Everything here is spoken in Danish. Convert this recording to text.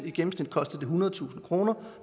i gennemsnit kostede ethundredetusind kroner og